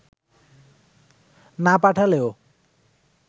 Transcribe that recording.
না পাঠালেও